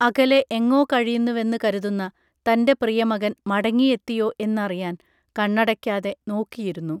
അകലെ എങ്ങോ കഴിയുന്നുവെന്ന് കരുതുന്ന തൻറെ പ്രിയമകൻ മടങ്ങി എത്തിയോ എന്നറിയാൻ കണ്ണടയ്ക്കാതെ നോക്കിയിരുന്നു